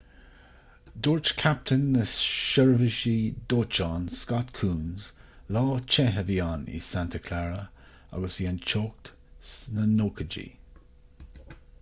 dúirt captaen na seirbhísí dóiteáin scott kouns lá te a bhí ann in santa clara agus bhí an teocht sna 90idí